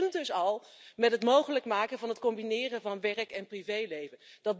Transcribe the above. Dat begint al met het mogelijk maken van het combineren van werk en privéleven.